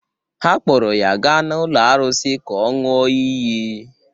Ha kpọọrọ ya gaa n’ụlọ arụsị ka ọ ṅụọ iyi